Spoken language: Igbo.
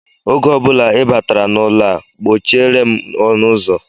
Oge ọ bụla ị batara n'ụlọ a, kpọchiere m ọnụụzọ!